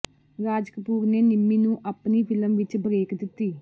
ਰਾਜ ਕਪੂਰ ਨੇ ਨਿੰਮੀ ਨੂੰ ਆਪਣੀ ਫਿਲਮ ਵਿਚ ਬਰੇਕ ਦਿੱਤੀ